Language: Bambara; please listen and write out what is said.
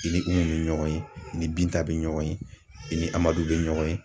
I ni Umu bɛ ɲɔgɔn ye, i ni Binta bɛ ɲɔgɔn ye, i ni Amadu bɛ ɲɔgɔn ye.